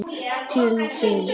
Til þín?